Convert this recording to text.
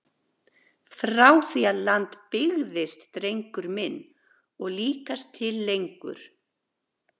Frá því að land byggðist drengur minn og líkast til lengur!